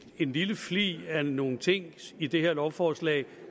en lille flig af nogle ting i det her lovforslag